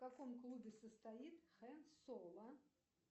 в каком клубе состоит хэн соло